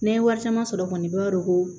N'an ye wari caman sɔrɔ kɔni i b'a dɔn ko